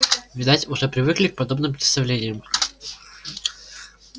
видать уже привыкли к подобным представлениям